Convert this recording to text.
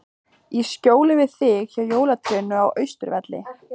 Í skjóli við þig, hjá jólatrénu á Austurvelli.